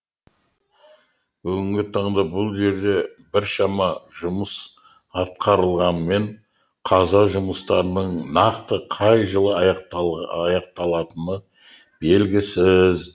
бүгінгі таңда бұл жерде біршама жұмыс атқарылғанымен қаза жұмыстарының нақты қай жылы аяқталатыны белгісіз